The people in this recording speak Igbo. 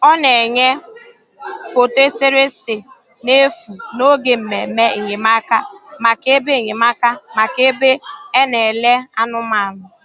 Ọ na-enyè foto eserese n’efu n’oge mmemme enyemáka maka ebe enyemáka maka ebe e na-elè anụ̀manụ̀.